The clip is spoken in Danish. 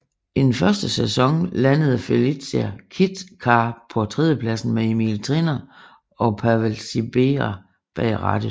I den første sæson landede Felicia Kit Car på tredjepladsen med Emil Triner og Pavel Sibera bag rattet